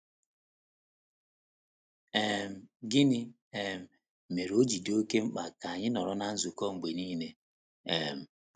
um Gịnị um mere o ji dị oké mkpa ka anyị nọrọ ná nzukọ mgbe nile um?